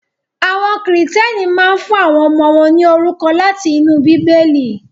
Àwọn Kìrìtẹ́ẹ́nì máa ń fún àwọn ọmọ wọn ní orúkọ láti inú Bíbélì.